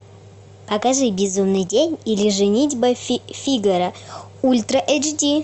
покажи безумный день или женитьба фигаро ультра эйч ди